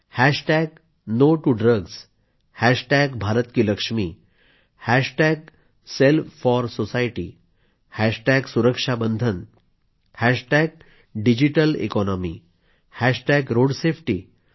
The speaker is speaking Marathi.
hashtag no to drugs hashtag Bharat ki Lakshmi hashtag self for society hashtag Suraksha Bandhan hashtag digital economy hashtag road safety